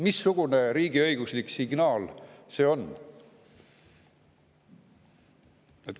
Missugune riigiõiguslik signaal see on?